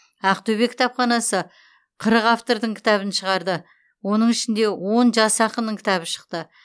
ақтөбе кітапханасы қырық автордың кітабын шығарды оның ішінде он жас ақынның кітабы шықты